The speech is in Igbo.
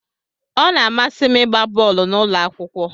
Ọ na-amasị m ịgba bọọlụ n'ụlọ akwụkwọ.